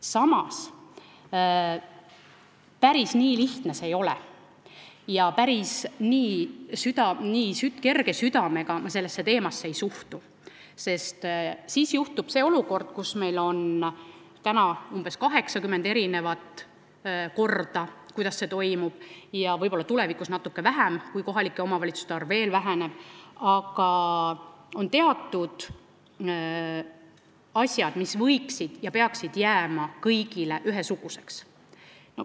Samas, päris nii lihtne see ei ole ja päris nii kerge südamega ma sellesse teemasse ei suhtu, sest siis juhtub nii nagu praegu, kui meil on umbes 80 erinevat korda, kuidas see toimuma peab , aga on teatud asjad, mis võiksid jääda ja peaksid jääma kõigile ühesuguseks.